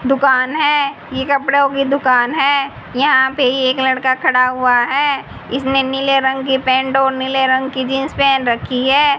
दुकान है ये कपड़ों की दुकान है यहां पर एक लड़का खड़ा हुआ है इसमें नीले रंग की पेंट और नीले रंग की जींस पहन रखी है।